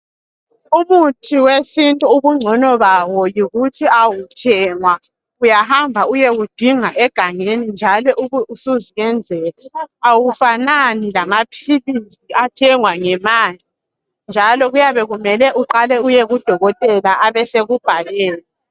Umuthi wesintu ubungcono bawo yikuthi awuthengwa. Uyahamba uyewudinga egangeni njalo ube usuzenzela. Awufanani lamaphilisi athengwa ngemali njalo kuyabe kumele uqale uyekudokotela abasekubhalela.